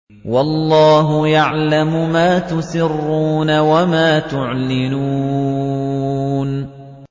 وَاللَّهُ يَعْلَمُ مَا تُسِرُّونَ وَمَا تُعْلِنُونَ